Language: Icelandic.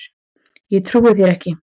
Ég trúi þér ekki.